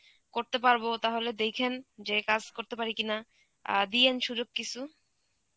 করতে পারব তাহলে দেইখেন যে কাজ করতে পারি কিনা, অ্যাঁ দিয়েন সুযোগ কিসু.